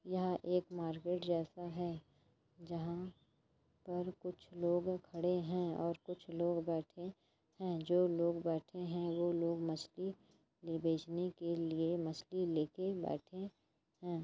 यह एक मार्केट जैसा है जहां पर कुछ लोग खड़े हैं और कुछ लोग बैठे हैं जो लोग बैठे हैंवो लोग मछली ले बेचने के लिए मछली लेके बैठे हैं।